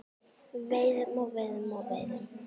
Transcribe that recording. Veiðum og veiðum og veiðum.